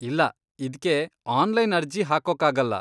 ಇಲ್ಲ, ಇದ್ಕೆ ಆನ್ಲೈನ್ ಅರ್ಜಿ ಹಾಕೋಕಾಗಲ್ಲ.